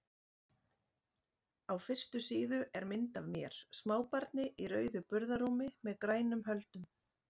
Á fyrstu síðu er mynd af mér, smábarni í rauðu burðarrúmi með grænum höldum.